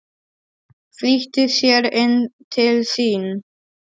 Flýtti sér inn til sín.